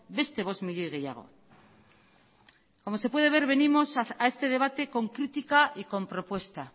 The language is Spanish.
beste bost milioi gehiago como se puede ver venimos a este debate con crítica y con propuesta